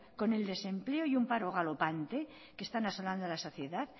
con el desempleo y un paro galopante que están asolando a la sociedad